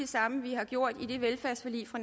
samme vi har gjort i det velfærdsforlig fra